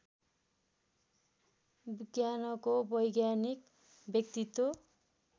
विज्ञानको वैज्ञानिक व्यक्तित्व